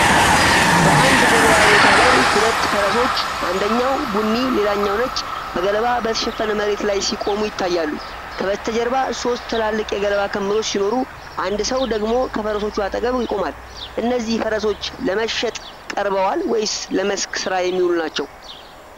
በአንድ የገበያ ቦታ ላይ፣ ሁለት ፈረሶች (አንደኛው ቡኒ ሌላኛው ነጭ) በገለባ በተሸፈነ መሬት ላይ ሲቆሙ ይታያሉ። ከበስተጀርባ ሦስት ትላልቅ የገለባ ክምሮች ሲኖሩ፣ አንድ ሰው ደግሞ ከፈረሶቹ አጠገብ ይቆማል። እነዚህ ፈረሶች ለመሸጥ ቀርበዋል ወይስ ለመስክ ሥራ የሚውሉ ናቸው?